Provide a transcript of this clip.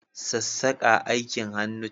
Sassaka aikin hannu ce.